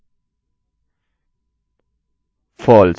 echo